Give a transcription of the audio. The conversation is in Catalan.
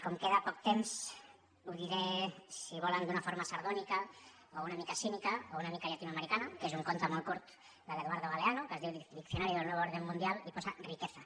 com que queda poc temps ho diré si volen d’una forma sardònica o una mica cínica o una mica llatinoamericana que és un conte molt curt de l’eduardo galeano que es diu diccionario del nuevo orden mundial i posa riqueza